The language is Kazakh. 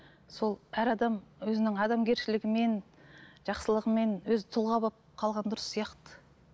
сол әр адам өзінің адамгершілігімен жақсылығымен өзі тұлға болып қалған дұрыс сияқты